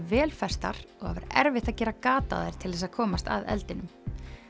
vel festar og erfitt að gera gat á þær til þess að komast að eldinum